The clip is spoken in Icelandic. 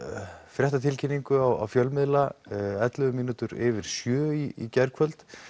fréttatilkynningu á fjölmiðla ellefu mínútur yfir sjö í gærkvöld